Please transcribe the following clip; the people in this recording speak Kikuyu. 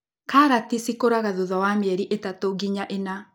Karati cikũraga thutha wa mĩeri ĩtatũ nginya ĩna.